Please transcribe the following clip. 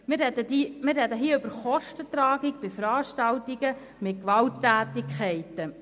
Wir reden hier über die Kostenübernahme bei Veranstaltungen mit Gewalttätigkeiten.